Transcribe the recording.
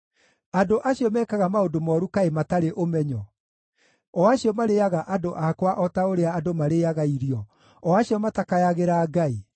Andũ acio mekaga maũndũ mooru kaĩ matarĩ ũmenyo, o acio marĩĩaga andũ akwa o ta ũrĩa andũ marĩĩaga irio, o acio matakayagĩra Ngai?